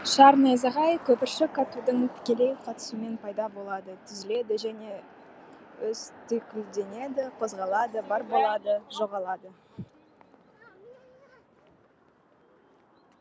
шар найзағай көпіршік атудың тікелей қатысуымен пайда болады түзіледі және өзтүйкілденеді қозғалады бар болады жоғалады